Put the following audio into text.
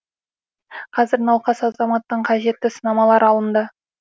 қазір науқас азаматтан қажетті сынамалар алынды